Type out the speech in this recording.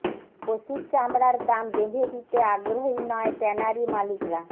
পশুর চামড়ার দাম বেঁধে দিতে আগ্রহী নয় ট্যানারি মালিকরা